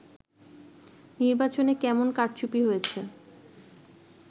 নির্বাচনে কেমন কারচুপি হয়েছে